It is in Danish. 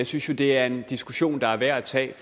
synes jo det er en diskussion der er værd at tage